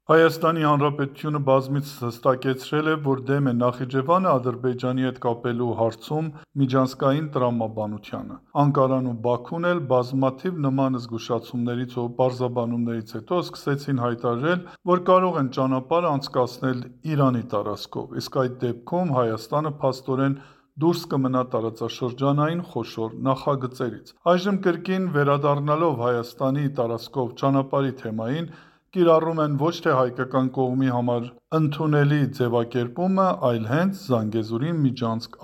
Հայաստանի Հանրապետությունը բազմիցս հստակեցրել է, որ դեմ է Նախիջևանը Ադրբեջանի հետ կապելու հարցում միջանցքային տրամաբանությանը, Անկարան ու Բաքուն էլ բազմաթիվ նման զգուշացումներից ու պարզաբանումներից հետո սկսեցին հայտարարել, որ կարող են ճանապարհը անցկացնել Իրանի տարածքով, իսկ այդ դեպքում Հայաստանը, փաստորեն, դուրս կմնա տարածաշրջանային խոշոր նախագծերից ։ Այժմ, կրկին վերադառնալով Հայաստանի տարածքով ճանապարհի թեմային, կիրառում են ոչ թե հայկական կողմի համար ընդունելի ձևակերպումը, այլ հենց «Զանգեզուրի միջանցք»